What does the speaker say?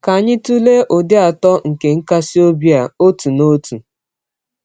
Ka anyị tụlee ụdị atọ nke nkasi obi a, otu n’otu.